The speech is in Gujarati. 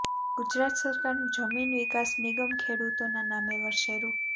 ગુજરાત સરકારનું જમીન વિકાસ નિગમ ખેડૂતોના નામે વર્ષે રૂ